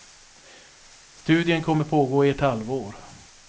Studien kommer pågå i ett halvår.